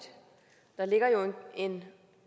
der ligger jo en